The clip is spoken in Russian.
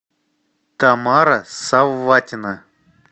тамара савватина